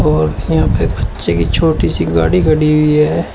और यहां पे बच्चे की छोटी सी गाड़ी खड़ी हुई है।